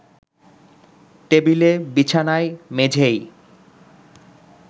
টেবিলে, বিছানায়, মেঝেয়